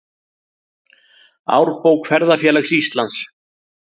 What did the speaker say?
Árbók Ferðafélags Íslands.